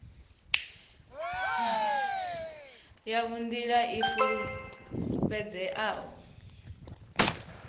yavho nga nḓila i fulufhedzeaho